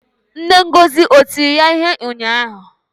Nne Ngozi o tiri ya ihe ụnyahụ?